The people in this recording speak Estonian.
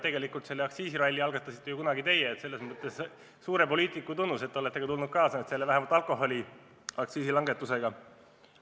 Tegelikult selle aktsiisiralli algatasite ju kunagi teie ja see viitab teile kui suurele poliitikule, et te olete kaasa tulnud vähemalt alkoholiaktsiisi langetuse plaaniga.